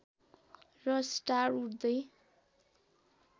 र स्टार उड्दै